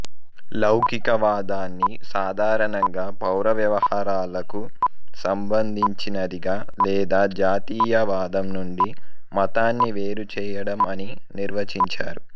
లౌకికవాదాన్ని సాధారణంగా పౌర వ్యవహారాలకు సంబంధిచినదిగా లేదా జాతీయావాదం నుండి మతాన్ని వేరుచేయడం అని నిర్వచించారు